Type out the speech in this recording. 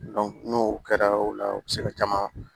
n'o kɛra o la u bi se ka caman